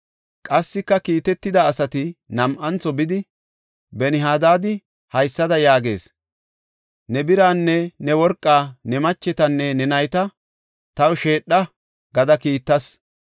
Qassika, kiitetida asati nam7antho bidi, “Ben-Hadaadi haysada yaagees; ‘Ne biraanne ne worqaa, ne machetanne ne nayta taw sheedha’ gada kiittas.